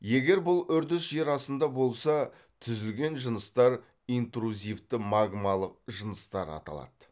егер бұл үрдіс жер астында болса түзілген жыныстар интрузивті магмалық жыныстар аталады